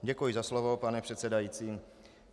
Děkuji za slovo, pane předsedající.